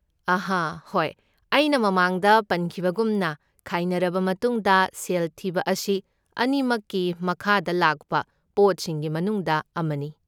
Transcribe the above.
ꯑꯍ ꯍꯣꯏ, ꯑꯩꯅ ꯃꯃꯥꯡꯗ ꯄꯟꯈꯤꯕꯒꯨꯝꯅ, ꯈꯥꯏꯅꯔꯕ ꯃꯇꯨꯡꯗ ꯁꯦꯜ ꯊꯤꯕ ꯑꯁꯤ ꯑꯅꯤꯃꯛꯀꯤ ꯃꯈꯥꯗ ꯂꯥꯛꯄ ꯄꯣꯠꯁꯤꯡꯒꯤ ꯃꯅꯨꯡꯗ ꯑꯃꯅꯤ꯫